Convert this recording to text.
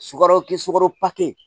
Sukaro ke sukaro